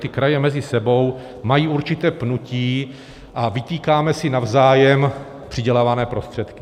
Ty kraje mezi sebou mají určité pnutí a vytýkáme si navzájem přidělované prostředky.